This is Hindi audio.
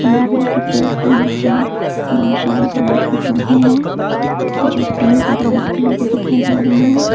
नारियल के पेड़ के नीचे बहुत सारे गुलाब के पौधे हैं जो पिंक और वाइट कलर के दिखाई दे रहे हैं।